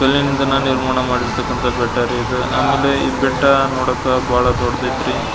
ಕಲ್ಲಿನಿಂದ ನಿರ್ಮಾಣ ಮಾಡಿರ್ತಕ್ಕಂತಹ ಬೆಟ್ಟ ರೀ ಇದು ಅಮೆಲಿ ಈ ಬೆಟ್ಟ ನೋಡಾಕ ಬಹಳ ದೊಡ್ಡದೈತ್ರಿ.